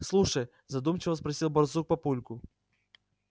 слушай задумчиво спросил барсук папульку